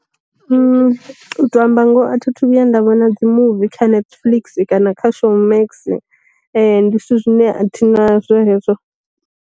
U tou amba ngoho a thi thu vhuya nda vhona dzi muvi kha netflix kana kha showmax, ndi zwithu zwine athi nazwo hezwo.